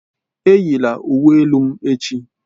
Eyila uwe elu m echi!